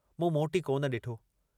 मूं मोटी कोन डिठो।